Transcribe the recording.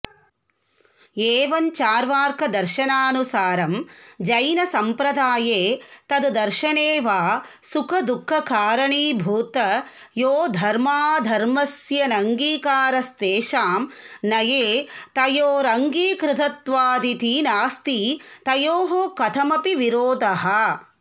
एवञ्चार्वाकदर्शनानुसारं जैनसम्प्रदाये तद् दर्शने वा सुखदुःखकारणीभूत योर्धर्माऽधर्मयोस्त्यिनङ्गीकारस्तेषां नये तयोरङ्गीकृतत्वादिति नास्ति तयोः कथमपि विरोधः